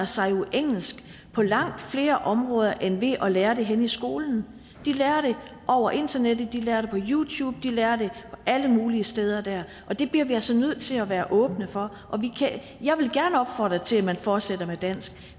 sig jo engelsk på langt flere områder end ved at lære det henne i skolen de lærer det over internettet de lærer det på youtube de lærer det alle mulige steder der og det bliver vi altså nødt til at være åbne for jeg vil gerne opfordre til at man fortsætter med dansk